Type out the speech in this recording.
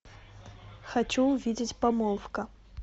хочу увидеть помолвка